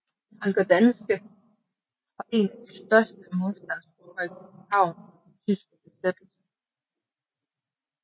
Holger Danske var en af de største modstandsgrupper i København under den tyske besættelse